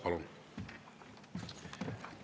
Palun!